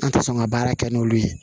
An tɛ sɔn ka baara kɛ n'olu ye